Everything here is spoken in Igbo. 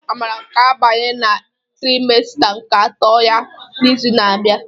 Amara ga-abanye na trimesta nke atọ ya n'izu na-abịa.